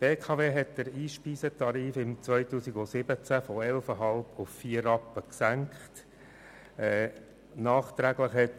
2017 hat die BKW den Einspeisetarif von 11,5 auf 4 Rappen gesenkt.